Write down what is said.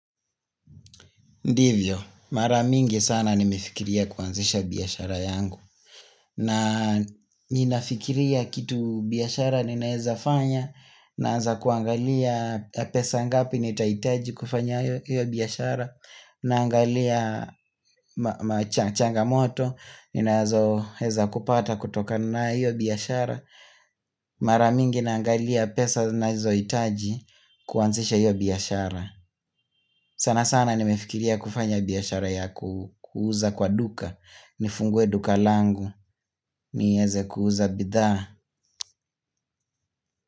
Ndivyo, mara mingi sana nimefikiria kuanzisha biashara yangu. Na ninafikiria kitu biashara ninaeza fanya, naanza kuangalia pesa ngapi nitahitaji kufanya hiyo biashara, naangalia changamoto, ninazoweza kupata kutokana hiyo biashara, mara mingi naangalia pesa ninazo hitaji kuanzisha hiyo biashara. Sana sana nimefikiria kufanya biashara ya kuuza kwa duka Nifungue duka langu nieze kuuza bidhaa.